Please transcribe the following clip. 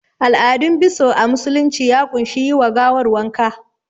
Al'adun biso a musulunci ya ƙunshi yi ma gawar wanka